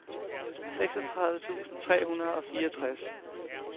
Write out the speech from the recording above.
seksogtredive tusind tre hundrede og fireogtres